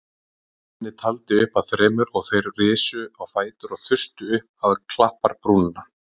Svenni taldi upp að þremur og þeir risu á fætur og þustu upp á klapparbrúnina.